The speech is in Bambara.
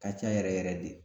Ka ca yɛrɛ yɛrɛ de